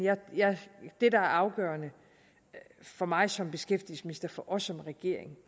det der er afgørende for mig som beskæftigelsesminister for os som regering